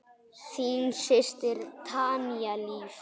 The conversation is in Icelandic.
Þín systir, Tanya Líf.